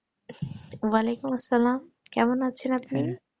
ওয়ালাইকুম আসসালাম কেমন আছেন আপনি